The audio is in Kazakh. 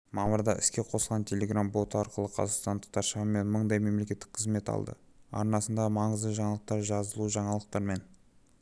мамырда іске қосылған телеграм-боты арқылы қазақстандықтар шамамен мыңдай мемлекеттік қызмет алды арнасындағы маңызды жаңалықтар жазылужаңалықтармен